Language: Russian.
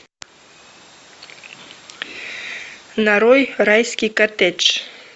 нарой райский коттедж